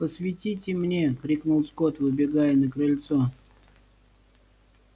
посветите мне крикнул скотт выбегая на крыльцо